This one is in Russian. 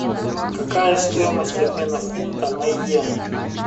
какая стоимость обмена фунта на йены